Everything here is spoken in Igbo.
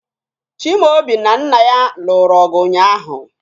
Chimaobi na nna ya lụrụ ọgụ ụnyaahụ